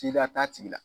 Tigiya t'a tigi la